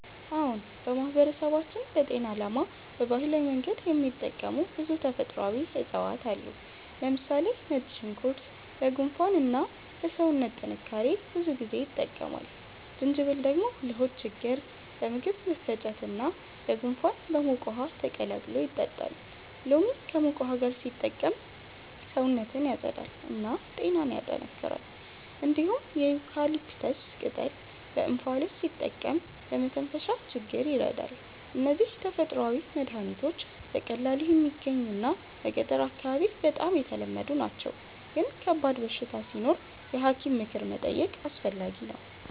አዎን፣ በማህበረሰባችን ለጤና ዓላማ በባህላዊ መንገድ የሚጠቀሙ ብዙ ተፈጥሯዊ እፅዋት አሉ። ለምሳሌ ነጭ ሽንኩርት ለጉንፋን እና ለሰውነት ጥንካሬ ብዙ ጊዜ ይጠቀማል። ጅንጅብል ደግሞ ለሆድ ችግኝ፣ ለምግብ መፈጨት እና ለጉንፋን በሙቅ ውሃ ተቀላቅሎ ይጠጣል። ሎሚ ከሙቅ ውሃ ጋር ሲጠቀም ሰውነትን ያጸዳል እና ጤናን ያጠናክራል። እንዲሁም የዩካሊፕተስ ቅጠል በእንፋሎት ሲጠቀም ለመተንፈሻ ችግኝ ይረዳል። እነዚህ ተፈጥሯዊ መድሀኒቶች በቀላሉ የሚገኙ እና በገጠር አካባቢ በጣም ተለመዱ ናቸው፣ ግን ከባድ በሽታ ሲኖር የሐኪም ምክር መጠየቅ አስፈላጊ ነው።